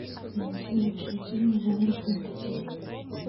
найди лучшие фильмы жанра фэнтези